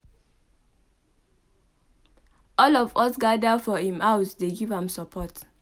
All of us gather for im house dey give am support.